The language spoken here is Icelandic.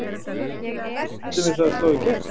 Er hljómsveitin við það að slá í gegn?